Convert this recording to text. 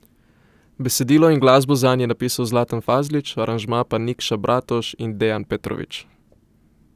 Besedilo in glasbo zanj je napisal Zlatan Fazlić, aranžma pa Nikša Bratoš in Dejan Petrović.